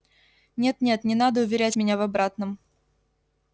нет нет не надо уверять меня в обратном